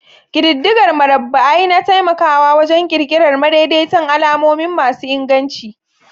Ƙididdigar murabba'i na taimakawa wajen ƙirƙirar madaidaitan alamomi masu inganci.